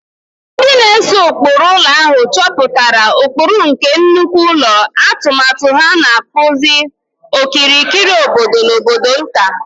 Ndị na-ese ụkpụrụ ụlọ ahụ chepụtara ụkpụrụ nke nnukwu ụlọ, atụmatụ ha na-akpụzi okirikiri obodo na obodo nta.